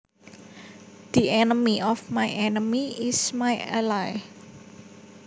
The enemy of my enemy is my ally